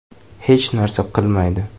Hech narsa qilmaydi.